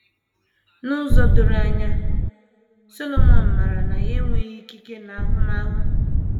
N’ụzọ doro anya, Solomọn maara na ya enweghị ikike na ahụmahụ.